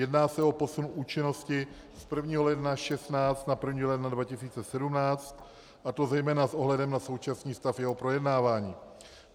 Jedná se o posun účinnosti z 1. ledna 2016 na 1. ledna 2017, a to zejména s ohledem na současný stav jeho projednávání.